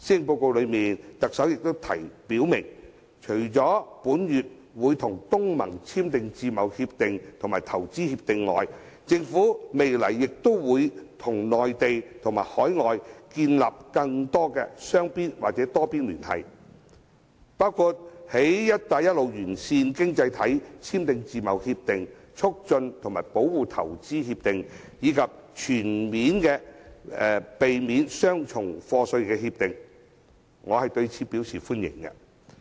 特首在施政報告中表明，除會在本月與東盟簽訂自由貿易協定與促進和保護投資協定外，政府未來亦會與內地和海外建立更多雙邊或多邊聯繫，包括與"一帶一路"沿線經濟體簽訂自貿協定及投資協定，以及避免雙重課稅協定，我對此表示歡迎。